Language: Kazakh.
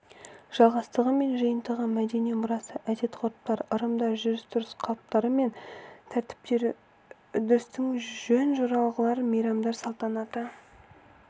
жалғастығы мен жиынтығы мәдени мұрасы әдет-ғұрыптар ырымдар жүріс-тұрыс қалыптары мен тәртіптері үрдістер жөн-жоралғылар мейрамдар салтанатты